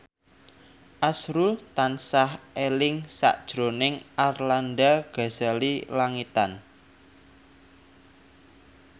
azrul tansah eling sakjroning Arlanda Ghazali Langitan